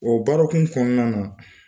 O barɔkun kɔnɔna na.